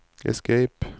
escape